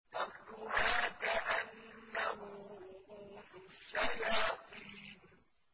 طَلْعُهَا كَأَنَّهُ رُءُوسُ الشَّيَاطِينِ